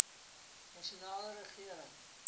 nasionale regering